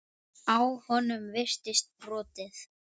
Á honum virtist brotið.